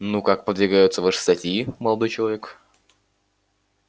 ну как подвигаются ваши статьи молодой человек